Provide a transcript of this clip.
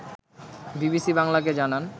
BBC বাংলাকে জানান